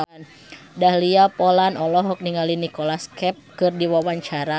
Dahlia Poland olohok ningali Nicholas Cafe keur diwawancara